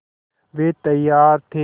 वे तैयार थे